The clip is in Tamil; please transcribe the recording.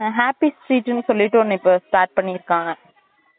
happy street ன்னு சொல்லிட்டு ஒன்னு இப்ப start பண்ணி இருக்காங்க